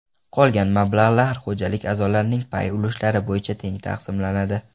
Qolgan mablag‘lar xo‘jalik a’zolarining pay ulushlari bo‘yicha teng taqsimlanadi.